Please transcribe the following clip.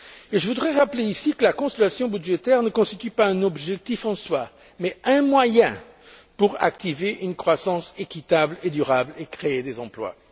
Et je voudrais rappeler ici que la consolidation budgétaire ne constitue pas un objectif en soi, mais un moyen pour activer une croissance équitable et durable et créer des emplois.